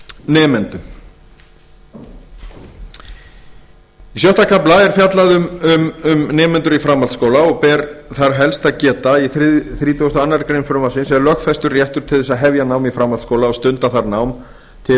nemendum í sjöunda er fjallað um nemendur í framhaldsskóla og ber þar helst að geta í þrítugasta og aðra grein frumvarpsins er lögfestur réttur til þess að hefja nám í framhaldsskóla og stunda þar nám til